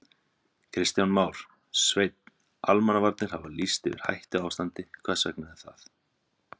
Kristján Már: Sveinn, almannavarnir hafa lýst yfir hættuástandi, hvers vegna er það?